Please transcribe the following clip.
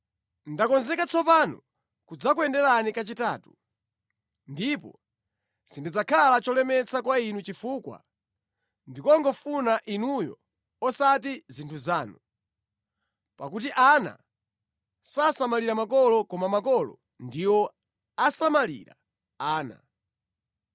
Ndakonzeka tsopano kudzakuyenderani kachitatu, ndipo sindidzakhala cholemetsa kwa inu chifukwa ndikungofuna inuyo osati zinthu zanu. Pakuti ana sasamalira makolo koma makolo ndiwo asamalira ana.